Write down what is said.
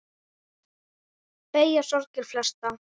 Beygja sorgir flesta.